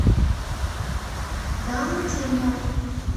даунтемпо